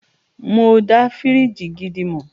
Mọ dá fíríjì gidi mọ̀.